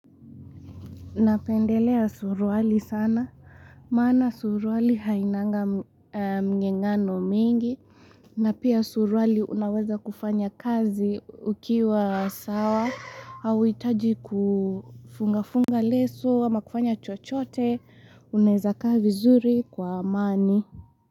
Napendelea surwali sana, maana surwali hainanga mgengano mingi, na pia surwali unaweza kufanya kazi ukiwa sawa, auhitaji kufunga-funga leso, ama kufanya chochote, unaweza kaa vizuri kwa amani.